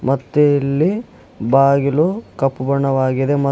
ಮತ್ತೆ ಇಲ್ಲಿ ಬಾಗಿಲು ಕಪ್ಪು ಬಣ್ಣವಾಗಿದೆ ಮಾ--